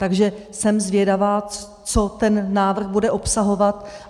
Takže jsem zvědavá, co ten návrh bude obsahovat.